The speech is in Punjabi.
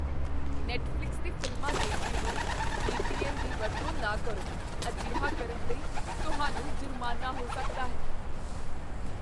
ਨੈੱਟਫ਼ਲਿਕਸ 'ਤੇ ਫ਼ਿਲਮਾਂ ਦੇਖਦੇ ਹੋਏ ਵੀ. ਪੀ. ਐੱਨ. ਦੀ ਵਰਤੋਂ ਨਾ ਕਰੋ। ਅਜਿਹਾ ਕਰਨ ਲਈ ਤੁਹਾਨੂੰ ਜੁਰਮਾਨਾ ਹੋ ਸਕਦਾ ਹੈ।